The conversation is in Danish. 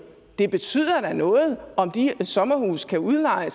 det betyder da noget om de sommerhuse bliver udlejet